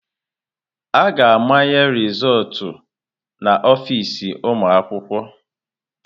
A ga-amanye rịzọltụ na ọfịz ụmụ akwụkwọ.